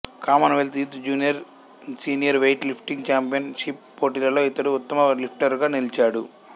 common wealth youth junior senior weightlifting championship పోటీలలో ఇతడు ఉత్తమ లిఫ్టరుగా నిలిచాడు